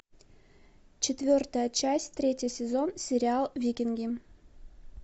четвертая часть третий сезон сериал викинги